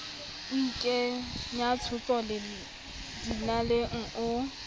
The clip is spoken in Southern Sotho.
o ikenya tshotso dinaleng o